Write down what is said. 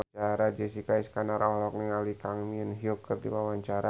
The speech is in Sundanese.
Jessica Iskandar olohok ningali Kang Min Hyuk keur diwawancara